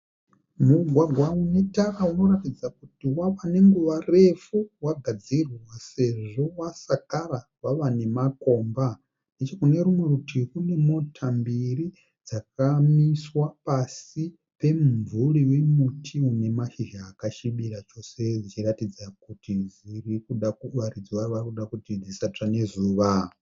Mugwagwa unetara unoratidza kuti wava nenguva yakarefu wagadzirwa sezvo wasakara wava nemakomba. Nechekunerumwe rutivi kune mota mbiri dzakamiswa pasi pemumvuri wemuti une mashizha akasvibira chose dzichiratidza kuti varidzi vayo varikuda kuti dzisatsva nezuva.